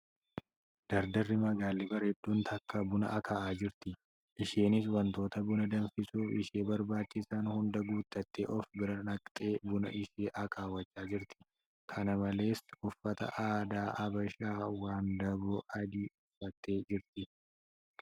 Dardarri magaalli bareedduun takka buna akaa'aa jirti. Isheenis wantoota buna danfisuuf ishee barbaachisan hundaa guuttatteee of bira naqxee buna ishee akaawwachaa jirti. Kana malees , uffata aadaa Habashaa wandaboo adii uffattee jirti.